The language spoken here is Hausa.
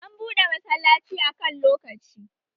An buɗe masallaci a kan lokaci